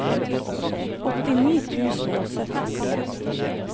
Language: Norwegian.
åttini tusen og syttien